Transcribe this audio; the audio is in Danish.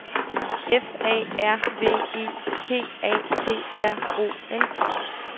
F A R V E P A T R O N